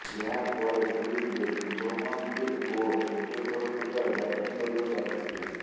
ଏହାପରେ କ୍ରିଜରେ ଶୁଭମନ ଗିଲ୍ ଓ ଚେତଶ୍ୱର ପୂଜାରା ବ୍ୟାଟିଂ କରିବାକୁ ଆସିଥିଲେ